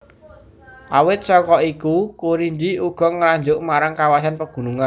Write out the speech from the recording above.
Awit saka iku Kurinji uga ngarujuk marang kawasan pagunungan